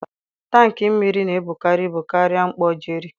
Tankị mmiri na-ebukarị ibu karịa mkpọ Jerry.